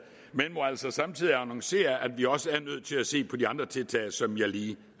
men må altså samtidig annoncere at vi også er nødt til at se på de andre tiltag som jeg lige